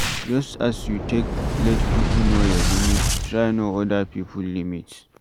Just as you take let pipo know your limit, try know oda pipo limit